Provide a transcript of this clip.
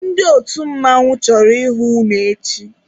Ndị otu mmanwụ chọrọ ịhụ unu echi!